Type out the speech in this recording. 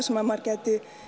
sem maður gæti